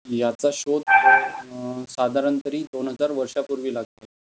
याचा शोध साधारण तरी दोन हजार वर्षापूर्वी लागला.